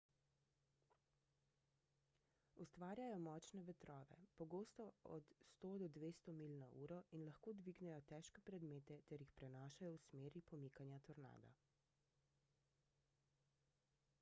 ustvarjajo močne vetrove pogosto 100–200 milj/uro in lahko dvignejo težke predmete ter jih prenašajo v smeri pomikanja tornada